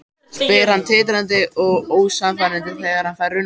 spyr hann titrandi og ósannfærandi þegar hann fær rænuna aftur.